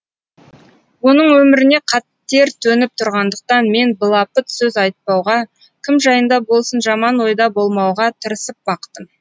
оның өміріне қатер төніп тұрғандықтан мен былапыт сөз айтпауға кім жайында болсын жаман ойда болмауға тырысып бақтым